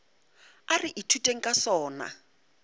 a re ithuteng ka sona